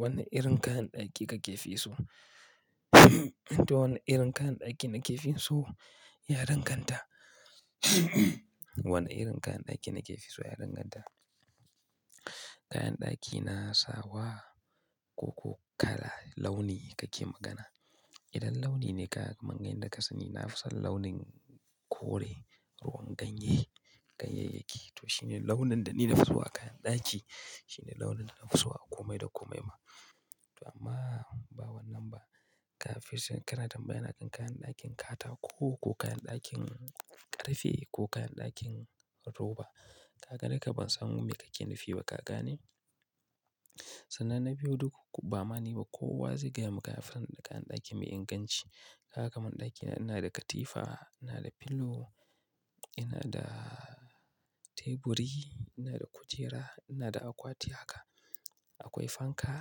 Wanne irin kayan ɗaki kake fi so? To, wanne irin kayan ɗaki na ke fi so? Ya danganta. Wanne irin kayan ɗaki na ke fi so? Ya danganta. Kayan ɗaki na sawa ko kala launi kake magana? Idan launi ne kaman da ka sani, na fi son launin kore, ko ruwan ganye, ganyayyaki. To shi ne launin da ni na fi so a kayan ɗaki. Shi ne launin da na fi so a kome da kome ma. To amma, ba wannan ba. Kafis da kana tambaya na kan kayan ɗakin kata ko, ko kayan ɗakin ƙarfe ko kayan ɗakin roba. Ka ga haka ban samu me kake nufi ba kaka ne? Sana na biyu duk ba ma'ana ba kowa zai gaya maka afaran da kayan ɗaki mai inganci. Haka man ɗaki na, ina da katifa, ina da pillow, ina da teburi, ina da kujera, ina da akwati haka. Akwai fanka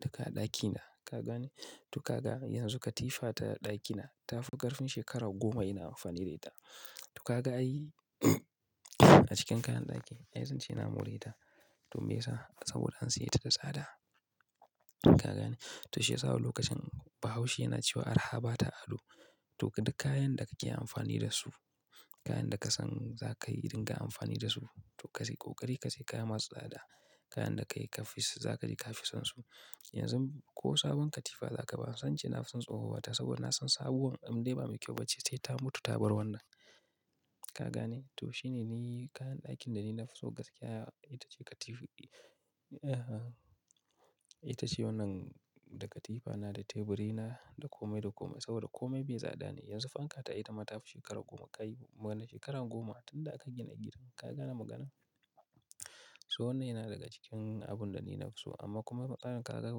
duka ɗaki na ka gani. To kaga yanzu katifa ta ɗaki na ta fi ƙarfin shekarar goma ina amfani da ita. To kaga ai a cikin kayan ɗaki, ai zan ce na more ta. To me ya sa? Saboda an siye ta da tsada. Ka gane? To shi ya sa wani lokacin bahaushe yana cewa "arha ba ta ado." To duk kayan da kake amfani da su, kayan da ka san za kai irin dinga amfani da su, to ka sai ƙoƙari, ka sai kaya masu tsada. Kayan da kai kafis, za ka ji ka fi son su. Yanzu ko sabon katifa za ka ba, san ce na fi son tsohuwar ta saboda na san sabuwar in dai ba mai kyau ba ce sai ta mutu ta bar wannan. Ka gani? To shi ne ni kayan ɗakin da ni na fi so gaskiya. Ita ce katif--, ita ce wannan da katifa na, da teburi na, da kome da kome. Saboda kome bai da tsada ne. Yanzu fanka ta ita ma ta fi shekarar goma ka yi, mana shekarar goma tunda aka gina gidan. Ka gane magana? So wannan yana daga cikin abun da ni na fi so. Amma kuma maganar ka ga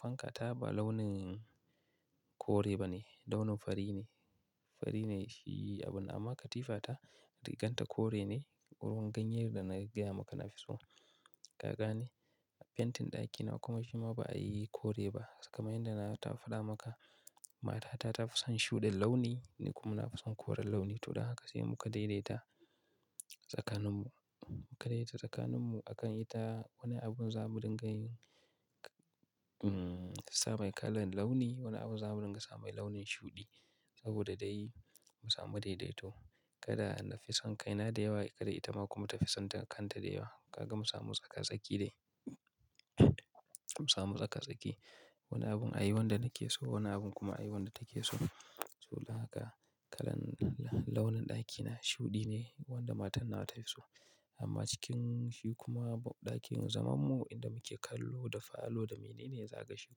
fanka ta ba launin kore ba ne, launin fari ne. Fari ne shi abun amma katifa ta, rigar ta kore ne, ruwan ganyayen da na gaya maka na fi so. Ka gane? Fentin ɗaki na kuma jima ba a yi kore ba. Kaman yanda na taba fa da maka, mata ta ta fi son shuɗi launi, ni kuma na fi son koren launi. To don haka sai mu ka daidaita tsakaninmu. Mu ka daidaita tsakaninmu a kan ita wani abun za mu dinga yin, sai mai kalan launi, wani abun za mu dinga sa mai launin shuɗi. Saboda dai mu samu daidaito. Kada na fi son kai na da yawa, kada ita ma kuma ta fi son kanta da yawa. Kaga mu samu tsaka-tsaki dai. Mu samu tsaka-tsaki. Wani abun ai wanda nake so, wani abun kuma a yi wanda take so. To don haka kalan launin ɗaki na shuɗi ne wanda matar na ta fi so. Amma cikin shi kuma ɗakin zamanmu inda muke kallo da falo da mene ne, zai kashe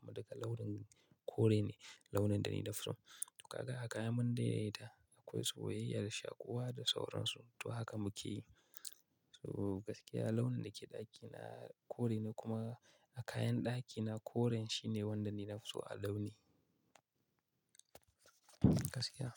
kuma daga launin kore ne, launin da ni na fi so. To kaga a kayan mun daidaita, akwai soyayya da shaƙuwa da sauransu. To haka muke yi. To gaskiya launin da ke ɗaki na kore ne kuma a kayan ɗaki na koren shi ne wanda ni na fi so a launi. Gaskiya.